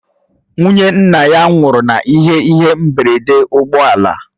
Nwụnye nna ya nwụrụ n'ihe ihe mgberede ụgbọ ala